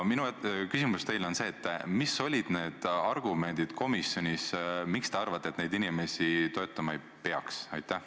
Minu küsimus teile on selline: mis olid komisjonis need argumendid, miks teie arvates neid inimesi toetama ei peaks?